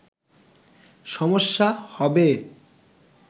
সমস্যা হবে